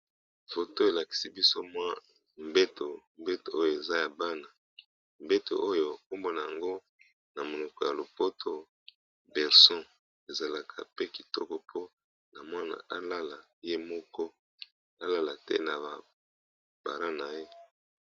Foto elakisi biso mwa mbeto, mbeto oyo eza ya bana mbeto oyo kombona yango na monoko ya lopoto berceau, ezalaka pe kitoko po na mwana alala ye moko alala te na ba parents na ye.